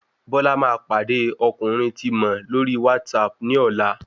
Bọla ma pàdé ọkùnrin tí mọ̀ lórí WhatsApp ní ọ̀la